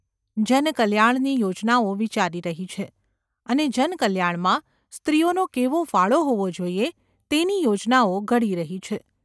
જનકલ્યાણની યોજનાઓ વિચારી રહી છે, અને જનકલ્યાણમાં સ્ત્રીઓનો કેવો ફાળો હોવા જોઈએ તેની યોજનાઓ ઘડી રહી છે.